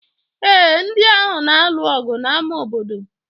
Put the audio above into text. ee, ndị ahụ na-alụ ọgụ n'ámá obodo